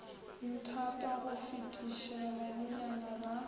nthata go fetiša banenyana ba